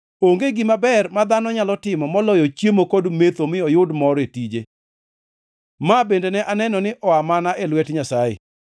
Onge gima ber ma dhano nyalo timo moloyo chiemo kod metho mi oyud mor e tije. Ma bende, aneno ni oa mana e lwet Nyasaye.